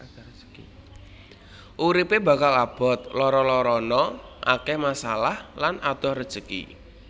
Uripe bakal abot lara larana akeh masalah lan adoh rejeki